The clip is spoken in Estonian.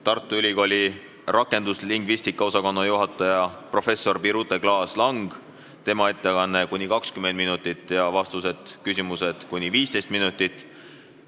Tartu Ülikooli rakenduslingvistika osakonna juhataja, professor Birute Klaas-Langi ettekanne on ka kuni 20 minutit ja küsimused-vastused kuni 15 minutit.